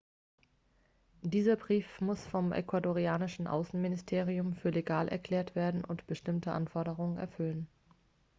dieser brief muss vom ecuadorianischen außenministerium für legal erklärt werden und bestimmte anforderungen erfüllen